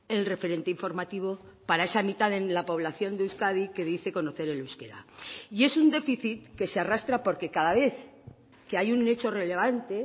el referente informativo para esa mitad en la población de euskadi que dice conocer el euskera y es un déficit que se arrastra porque cada vez que hay un hecho relevante